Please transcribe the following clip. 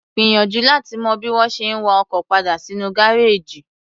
Gbìyànjú láti mọ bí wọ́n ṣe ń wa ọkọ̀ padal sínú gáréèjì.